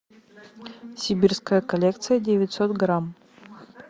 сибирская коллекция девятьсот грамм